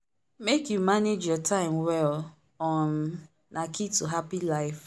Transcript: make you manage your time well um na key to happy life.